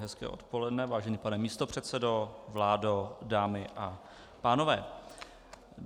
Hezké odpoledne, vážený pane místopředsedo, vládo, dámy a pánové.